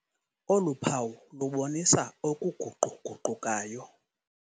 Olu phawu lubonisa okuguqu-guqukayo.